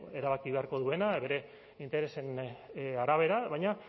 erabaki beharko duena bere interesen arabera baina